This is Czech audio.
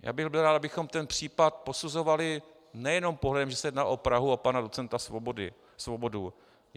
Já bych byl rád, abychom ten případ posuzovali nejenom pohledem, že se jedná o Prahu a pana docenta Svobodu.